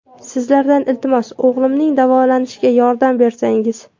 Sizlardan, iltimos, o‘g‘limning davolanishiga yordam bersangiz.